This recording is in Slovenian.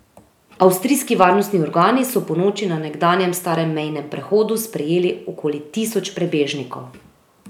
Avstrijski varnostni organi so ponoči na nekdanjem starem mejnem prehodu sprejeli okoli tisoč prebežnikov.